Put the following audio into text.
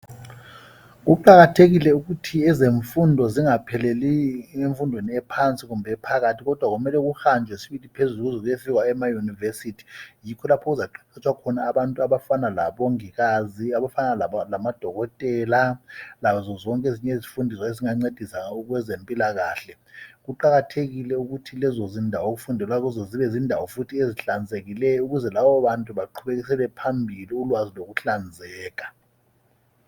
Kuqakathekile ukuthi ezemfundo zingapheleli emfundweni ephansi kumbe ephakathi kodwa kumele kuhanjwe sibili phezulu kuze kuyefikwa ema yunivesithi. Yikho lapho okuzaqeqetshwa khona abantu abafana labongikazi, abafana lamadokotela, lazo zonke ezinye izifundi ezingancedisa kwezempilakahle. Kuqakathekile ukuthi lezo zindawo okufundelwa kizo zibe zindawo futhi ezihlanzekileyo ukuze labo bantu baqhubekisele phambili ulwazi lokuhlanzeka.